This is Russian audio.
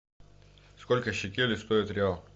сколько шекелей стоит реал